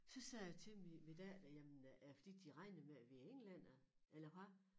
Så sagde jeg til min min datter jamen er det fordi de regner med vi er englændere eller hvad